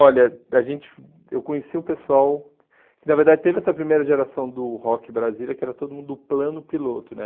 Olha, a gente eu conheci o pessoal... Na verdade, teve essa primeira geração do rock brasileiro, que era todo mundo do plano piloto, né?